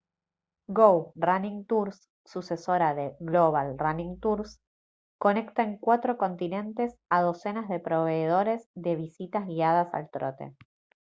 go running tours sucesora de global running tours conecta en cuatro continentes a docenas de proveedores de visitas guiadas al trote